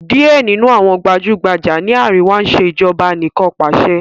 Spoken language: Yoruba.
Díẹ̀ nínú àwọn gbajúgbajà ní àríwá ń ṣe Ìṣèjọ́ba aníkanpàṣẹ